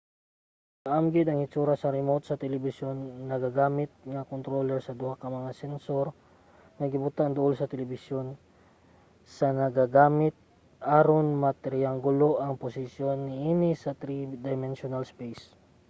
kaamgid ang hitsura sa remote sa telebisyon nagagamit ang controller og duha ka mga sensor nga gibutang duol sa telebisyon sa nagagamit aron matriyanggulo ang posisyon niini sa three-dimensional space